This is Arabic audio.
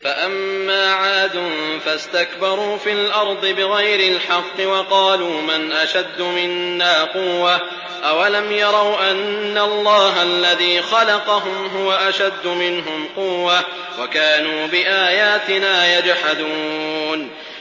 فَأَمَّا عَادٌ فَاسْتَكْبَرُوا فِي الْأَرْضِ بِغَيْرِ الْحَقِّ وَقَالُوا مَنْ أَشَدُّ مِنَّا قُوَّةً ۖ أَوَلَمْ يَرَوْا أَنَّ اللَّهَ الَّذِي خَلَقَهُمْ هُوَ أَشَدُّ مِنْهُمْ قُوَّةً ۖ وَكَانُوا بِآيَاتِنَا يَجْحَدُونَ